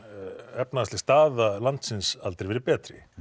efnahagsleg staða landsins aldrei verið betri